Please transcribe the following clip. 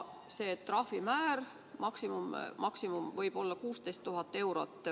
See maksimaalne trahvimäär võib olla 16 000 eurot.